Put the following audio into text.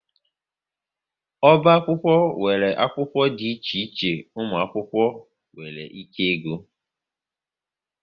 Oba akwụkwọ nwere akwụkwọ dị iche iche ụmụ akwụkwọ nwere ike ịgụ